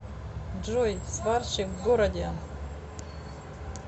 джой сварщик в городе